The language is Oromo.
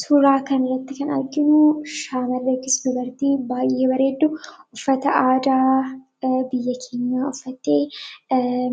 Suuraa kanarratti kan arginu shamara yookiin dubartii baay'ee bareeddu, uffata aadaa biyya keenyaa uffattee